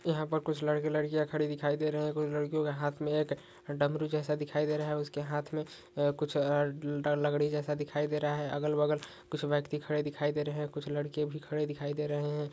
यहाँ पर कुछ लड़के लड़किया खड़े दिखाई दे रहे है कुछ लड़के के हाथ में एक डामरु जैसा दिखाई दे रहा है उसके हाथ में कुछ आ डा लकड़ी जैसा दिखाई दे रहा है अगल बगल कुछ ब्यक्ति खड़े दिखाई दे रहे है कुछ लड़के भी खड़े दिखाई दे रहे है।